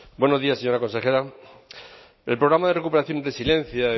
buenos días señora consejera el programa de recuperación y resiliencia